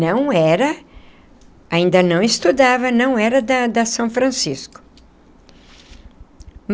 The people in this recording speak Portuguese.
Não era... ainda não estudava, não era da da São Francisco.